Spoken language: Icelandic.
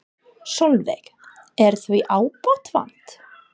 Sólveig: Er því ábótavant?